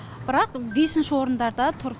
бірақ бесінші орындарда тұр